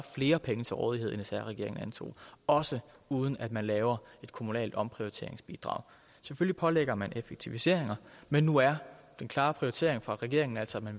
flere penge til rådighed end sr regeringen antog også uden at man laver et kommunalt omprioriteringsbidrag selvfølgelig pålægger man kommunerne effektiviseringer men nu er den klare prioritering for regeringen altså at man